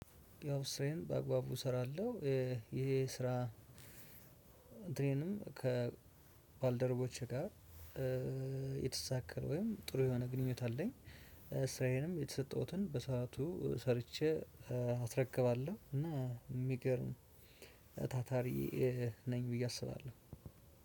ያው ስራዬን በአግባቡ እሰራለሁ ይሄ ስራ ድሬንም ከባልደረቦቼ ጋር የተሳካ ወይም ጥሩ የሆነ ግንኙነት አለኝ። ስራዬንም የተሰጠሁትን በሰአቱ ሰርቼ አስረክባለሁ። እና የሚገርም ታታሪ ነኝ ብዬ አስባለሁ።